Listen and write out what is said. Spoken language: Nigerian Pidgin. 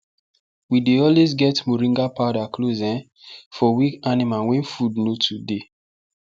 we dey always get moringa powder close um for weak animal when food no too dey